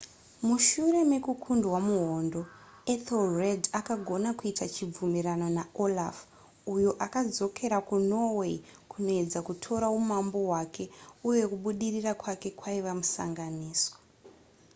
mushure mekukundwa muhondo ethelred akagona kuita chibvumirano naolaf uyo akadzokera kunorway kunoedza kutora umambo hwake uye kubudirira kwake kwaiva musanganiswa